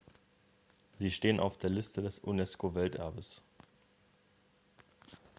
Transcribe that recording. sie stehen auf der liste des unesco-welterbes